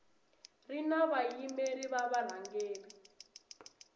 ri na vayimeri va varhangeri